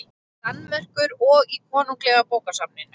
Danmerkur og í Konunglega bókasafninu.